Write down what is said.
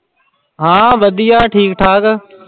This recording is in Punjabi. ਹਾਂ ਵਧੀਆ ਠੀਕ ਠਾਕ।